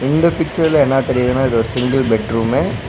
இந்த பிச்சர்ல என்னா தெரியுதுனா இது ஒரு சிங்கிள் பெட் ரூமு .